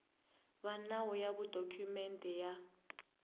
va nawu ya dokumende ya